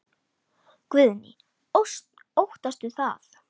Guðný: Óttastu það?